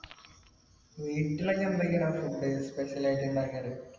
വീട്ടിലൊക്കെ എന്തൊക്കെയാടാ food special ആയിട്ട് ഇണ്ടാക്കാർ